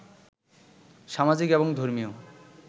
সামাজিক এবং ধর্মীয়